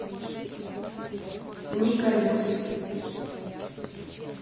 николюкс